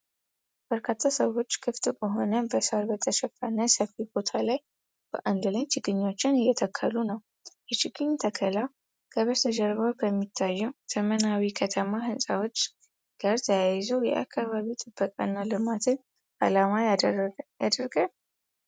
በርካታ ሰዎች ክፍት በሆነና በሣር በተሸፈነ ሰፊ ቦታ ላይ በአንድ ላይ ችግኞችን እየተከሉ ነው፤ የችግኝ ተከላው ከበስተጀርባው ከሚታዩት ዘመናዊ ከተማ ሕንፃዎች ጋር ተያይዞ የአካባቢ ጥበቃ እና ልማትን አላማ ያደርጋል?